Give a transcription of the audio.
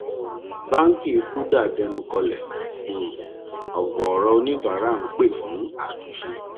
báńkì kuda dẹnu kọlẹ um ọgọọrọ oníbàárà ń pè fún àtúnṣe